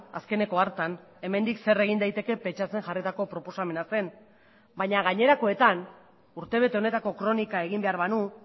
azkeneko hartan hemendik zer egin daiteke pentsatzen jarritako proposamena zen baina gainerakoetan urtebete honetako kronika egin behar banu